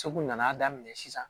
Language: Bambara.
Segu nana daminɛ sisan